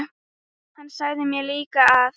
Hann sagði mér líka að